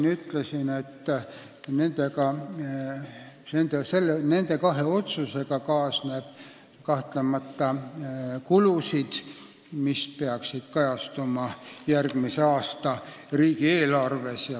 Ma ütlesin siin ka eelmine kord, et nende kahe otsusega kaasneb kahtlemata kulusid, mis peaksid kajastuma järgmise aasta riigieelarves.